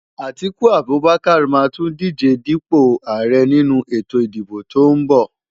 Atiku Abubakar máa tún díje dípò ààrẹ nínú ètò ìdìbò tó ń bọ̀.